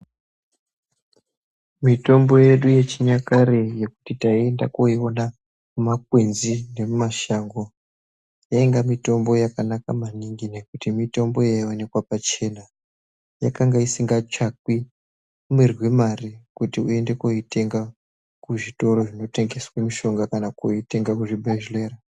Mitombo yedu yechinyakare yekuti taiita koiona mumakwenzi nemumashango yainga mitombo yakanaka maningi nekuti mitombo yaionekwa pachena. Yakanga isingatsvakwi mirwi yemare kuti woende koitenga kuzvitoro zvinotengeswa mitombo kana kuti kuitenga kuzvibhedhlera.